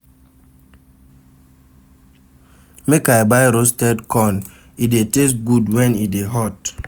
Make I buy roasted corn, e dey taste good wen e dey hot.